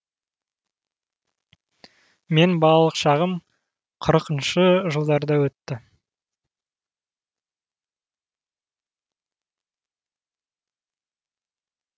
мен балалық шағым қырқыншы жылдарда өтті